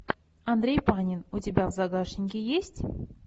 андрей панин у тебя в загашнике есть